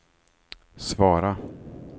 svara